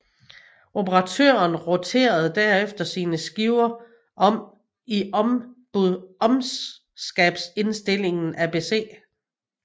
Operatøren roterede derefter sine skiver om i budskabsindstillingen ABC